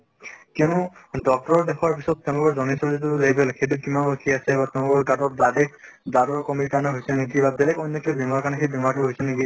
কিয়্নো doctor ৰৰ দেখোৱাৰ পিছত তেওলোকৰ সেইটো কিমান উঠি আছে blood ৰ কমিৰ কাৰণে হৈছে নে কিবা বেলেগ অন্য় কিবা বেমাৰৰ কাৰণে সেই বেমাৰ টো হৈছে নেকি